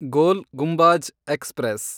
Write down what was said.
ಗೋಲ್ Gumbaz express